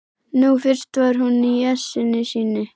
Nú fyrst var hún í essinu sínu.